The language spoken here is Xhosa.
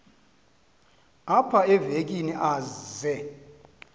apha evekini aze